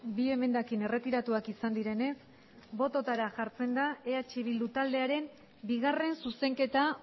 bi emendakin erretiratuak izan direnez bototara jartzen da eh bildu taldearen bigarren zuzenketa